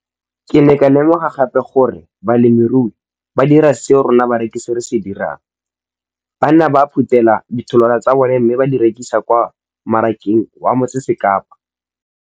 Ke ne ka lemoga gape gore balemirui ba dira seo rona barekisi re se dirang ba ne ba phuthela ditholwana tsa bona mme ba di rekisa kwa marakeng wa Motsekapa.